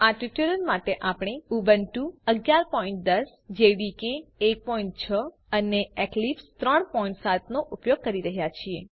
આ ટ્યુટોરીયલ માટે આપણે ઉબુન્ટુ 1110 જેડીકે 16 અને એક્લિપ્સ 37 નો ઉપયોગ કરી રહ્યા છીએ